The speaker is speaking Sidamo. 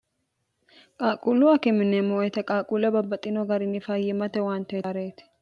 qaaquullu akime yineemmo woyite qaaquulle babbaxxino garinni fayyimmate owaante yaareti